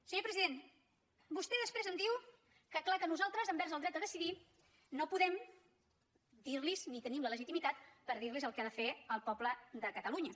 senyor president vostè després em diu que clar que nosaltres envers el dret a decidir no podem dir los ni tenim la legitimitat per dir los el que ha de fer el poble de catalunya